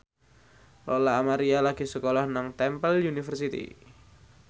Lola Amaria lagi sekolah nang Temple University